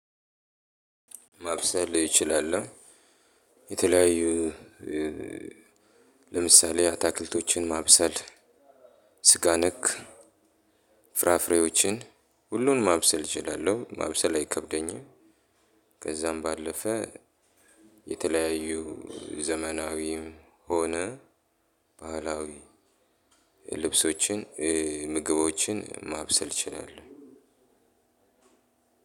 ማብሰል እችላለሁ የተለያዩ ለምሳሌ አትክልቶችን ማብሰል ስጋ ነክ ፍራፍሬዎችን ሁሉንም ማብሰል እችላለሁ ማብሰል አይከብደኝም። ከዛም ባለፈ የተለያዩ ዘመናዊም ሆነ ባህላዊ ልብሶችን ምግቦችን ማብሰል እችላለሁ።